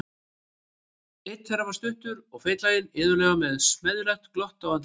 Einn þeirra var stuttur og feitlaginn, iðulega með smeðjulegt glott á andlitinu.